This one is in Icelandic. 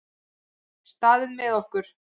Staðið með okkur